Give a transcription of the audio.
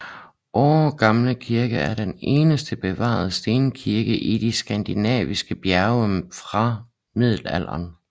Åre Gamle Kirke er den eneste bevarede stenkirke i de Skandinaviske bjerge fra Middelalderen